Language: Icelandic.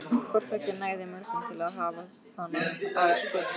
Hvort tveggja nægði mörgum til að hafa hana að skotspæni.